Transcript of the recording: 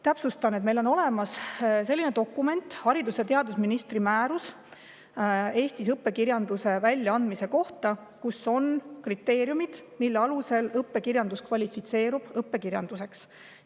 " Täpsustan, et meil on olemas selline dokument nagu haridus‑ ja teadusministri määrus Eesti õppekirjanduse kohta, kus on kriteeriumid, mille alusel kirjandus kvalifitseerub õppekirjanduseks.